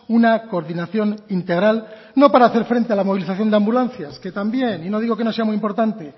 una coordinación integral no para haber frente a la movilización de ambulancias que también y no digo que no sea muy importante